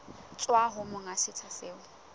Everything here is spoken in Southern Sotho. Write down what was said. tswa ho monga setsha seo